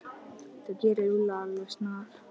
Þú gerir Lúlla alveg snar,